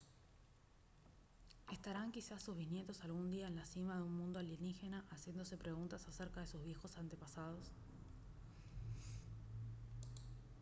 ¿estarán quizás sus bisnietos algún día en la cima de un mundo alienígena haciéndose preguntas acerca de sus viejos antepasados?